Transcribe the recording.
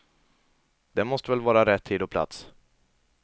Det måste väl vara rätt tid och plats.